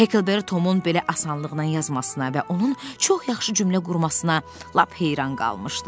Hekkelberri Tomun belə asanlıqla yazmasına və onun çox yaxşı cümlə qurmasına lap heyran qalmışdı.